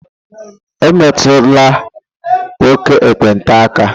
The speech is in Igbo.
Emetula nwoke ekpenta aka!